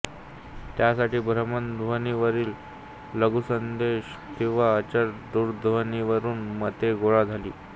त्यासाठी भ्रमणध्वनीवरील लघुसंदेश किंवा अचल दूरध्वनीवरून मते गोळा झाली